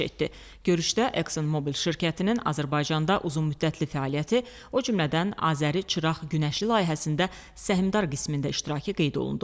Görüşdə Exxon Mobil şirkətinin Azərbaycanda uzunmüddətli fəaliyyəti, o cümlədən Azəri Çıraq Günəşli layihəsində səhmdar qismində iştirakı qeyd olundu.